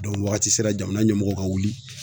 waagati sera jamana ɲɛmɔgɔw ka wuli.